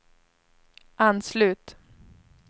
anslut